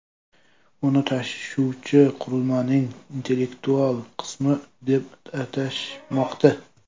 Uni tashuvchi qurilmaning intellektual qismi deb atashmoqda.